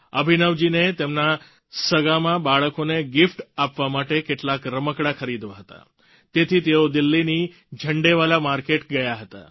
અભિનવજી ને તેમના સગાંમાં બાળકોને ગીફ્ટ આપવા માટે કેટલાક રમકડાં ખરીદવા હતા તેથી તેઓ દિલ્હીની ઝંડેવાલા માર્કેટ ગયા હતા